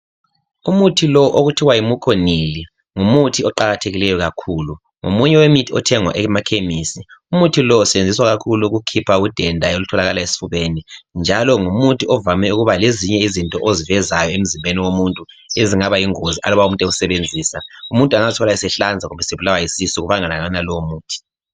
Umuthi lo okuthiwa yi muconyl ngumuthi oqakathekileyo kakhulu ngomuye wemithi ethengwa emakhemesi. Umuthi lo usebenziswa ukukhipha udenda olutholakala esifubeni njalo ngumuthi ovame ukuba lezinye izinto ozivezayo emzimbeni womuntu ezingaba yingozi aluba umuntu ewusebenzisa umuntu angazithola esehlanza kumbe esebulawa yisisu ngokubangelwa kwalowo muthi